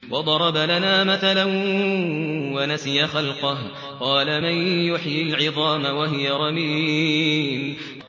وَضَرَبَ لَنَا مَثَلًا وَنَسِيَ خَلْقَهُ ۖ قَالَ مَن يُحْيِي الْعِظَامَ وَهِيَ رَمِيمٌ